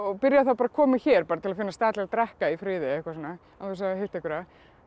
byrjaði að koma hér til að finna stað til að drekka í friði og eitthvað svona án þess að hitta einhverja